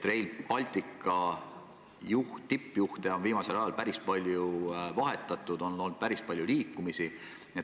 Rail Balticu tippjuhte on viimasel ajal päris palju vahetatud, on olnud päris palju liikumist.